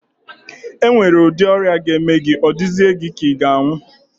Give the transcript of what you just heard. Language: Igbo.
E nwere udi ọrịa ga-eme gị, ọ dịzịe gị ka ị nwụọ.